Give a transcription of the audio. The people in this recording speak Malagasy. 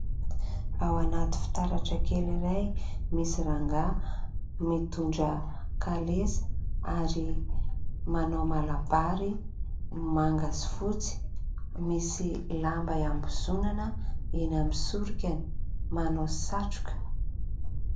Ao anaty fitaratra kely iray misy rangaha mitondra kalesa ary manao malabary manga sy fotsy misy lamba iambozonana eny amin'ny sorokany, manao satroka.